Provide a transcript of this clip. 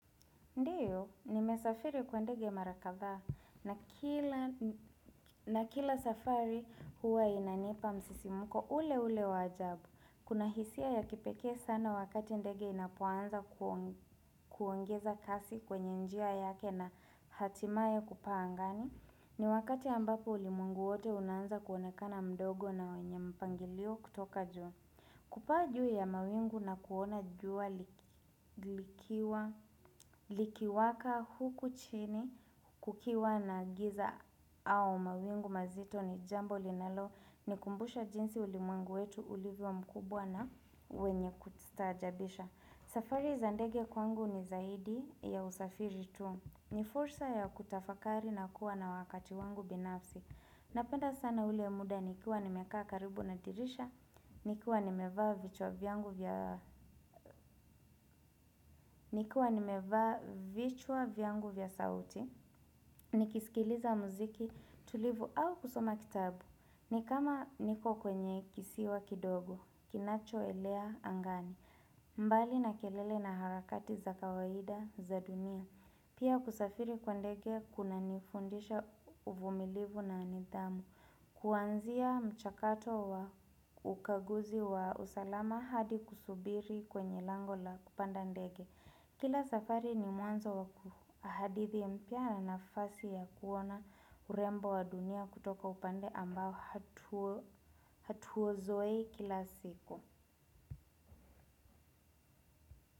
Ndiyo, nimesafiri kwa ndege mara kathaa na kila safari huwa inanipa msisimuko ule ule wa ajabu. Kuna hisia ya kipekee sana wakati ndege inapoanza kuongeza kasi kwenye njia yake na hatimaye kupaa angani. Ni wakati ambapo ulimwengu wote unaanza kuonekana mdogo na wenye mpangilio kutoka juu. Kupaa juu ya mawingu na kuona jua likiwaka huku chini kukiwa na giza au mawingu mazito ni jambo linalo nikumbusha jinsi ulimwengu wetu ulivyo mkubwa na wenye kustaajabisha. Safari za ndege kwangu ni zaidi ya usafiri tu. Ni fursa ya kutafakari na kuwa na wakati wangu binafsi. Napenda sana ule muda nikiwa nimekaa karibu na dirisha, nikiwa nimevaa vichwa vyangu vya sauti, nikisikiliza mziki tulivu au kusoma kitabu, nikama niko kwenye kisiwa kidogo, kinacho elea angani. Mbali na kelele na harakati za kawaida za dunia, pia kusafiri kwa ndege kunanifundisha uvumilivu na nidhamu. Kuanzia mchakato wa ukaguzi wa usalama hadi kusubiri kwenye lango la kupanda ndege. Kila safari ni mwanzo wa hadithi mpya na nafasi ya kuona urembo wa dunia kutoka upande ambao hatuuzoei kila siku.